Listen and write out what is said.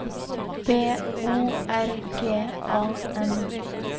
B O R G A N